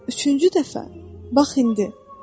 Üçüncü dəfə, bax indi.